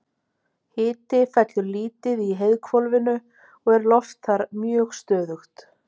Hiti fellur lítið í heiðhvolfinu og er loft þar mjög stöðugt.